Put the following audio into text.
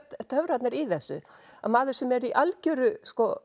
töfrarnir í þessu að maður sem er í algjöru